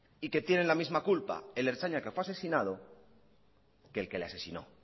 y que tienen la misma culpa el ertzaina que fue asesinado que el que le asesinó